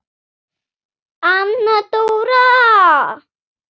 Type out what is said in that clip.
Anna Dóra!